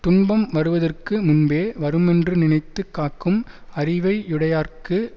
துன்பம் வருவதற்கு முன்பே வருமென்று நினைத்து காக்கும் அறிவை யுடையார்க்கு